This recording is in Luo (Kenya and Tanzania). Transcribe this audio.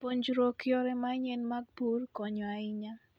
Puonjruok yore manyien mag pur konyo ahinya.